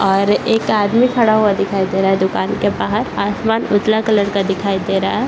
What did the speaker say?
और एक आदमी खड़ा हुआ दिखाई दे रहा है दूकान के बाहर आसमान उजला कलर का दिखाई दे रहा है।